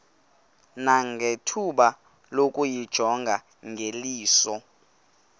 nangethuba lokuyijonga ngeliso